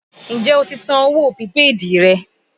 Ǹjẹ́ o ti san owó pìpéèdì rẹ?